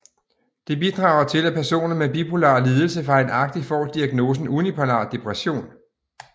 Det bidrager til at personer med bipolar lidelse fejlagtigt får diagnosen unipolar depression